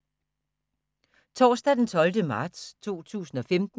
Torsdag d. 12. marts 2015